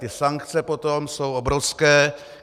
Ty sankce potom jsou obrovské.